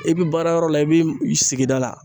I bi baarayɔrɔ la i bi sigida la